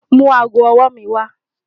Mú àágọ́ ọwọ́-ọwọ́ mi wà.